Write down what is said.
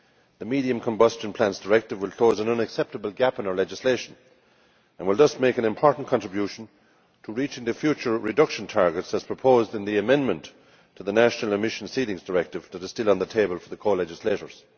The Medium Combustion Plants Directive will close an unacceptable gap in our legislation and will thus make an important contribution to reaching the future reduction targets as proposed in the amendment to the National Emission Ceilings Directive that is still on the table for the co legislators.